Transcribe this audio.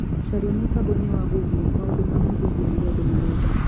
Caria mũtamboini wa google maũndu ma mũthingi Marĩa andũ marenda